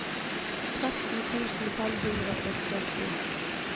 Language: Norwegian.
tretten tusen fem hundre og førti